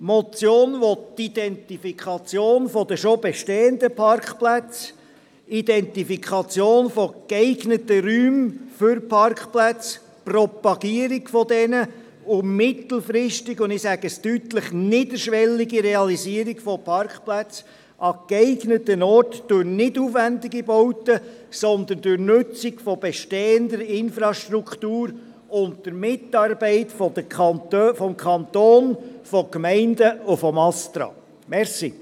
– Die Motion will die Identifikation der schon bestehenden Parkplätze, die Identifikation geeigneter Räume für Parkplätze, deren Propagierung und mittelfristig – das sage ich mit aller Deutlichkeit – die niederschwellige Realisierung von Parkplätzen an geeigneten Orten durch nicht aufwendige Bauten, sondern durch Nutzung bestehender Infrastrukturen, unter Mitarbeit des Kantons, der Gemeinden und des Bundesamts für Strassen (Astra).